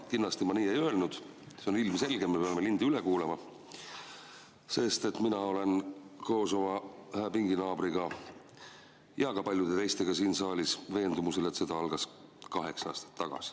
Kindlasti ma nii ei öelnud, see on ilmselge – me peame lindi üle kuulama –, sest mina olen koos oma pinginaabriga ja ka paljude teistega siin saalis veendumusel, et sõda algas kaheksa aastat tagasi.